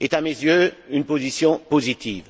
est à mes yeux une position positive.